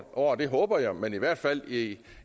år det håber jeg men i hvert fald i